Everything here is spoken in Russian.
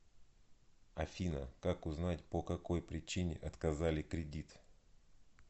афина как узнать по какой причине отказали кредит